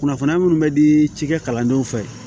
Kunnafoniya munnu bɛ di cikɛ kalandenw fɛ